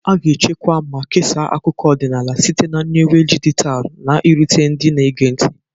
A ga-echekwa ma kesaa akụkọ ọdịnala site na nyiwe dijitalụ, na-erute ndị na-ege ntị.